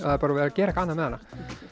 það er bara verið að gera eitthvað annað með hana